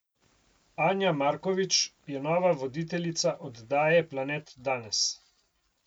Anja Markovič je nova voditeljica oddaje Planet Danes.